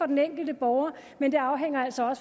den enkelte borger og